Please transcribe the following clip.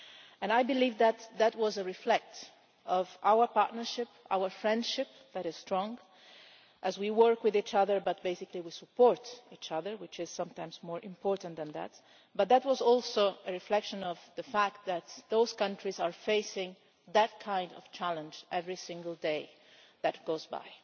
And I believe that that was a reflection of our partnership, our friendship, which is strong, as we work with each other, but basically we support each other which is sometimes more important than that but that was also a reflection of the fact that those countries are facing that kind of challenge every single day that goes by.